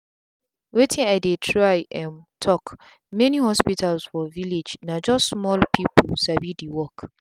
wetin i dey try um talk many hospitals for village na just small people sabi the work.